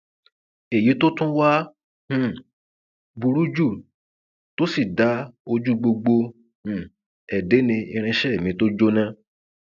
èyí tó tún wáá um burú jù tó sì dá ojú gbogbo um ẹ dé ni irinṣẹ mi tó jóná